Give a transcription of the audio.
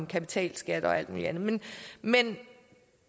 kapitalskat og alt mulig andet men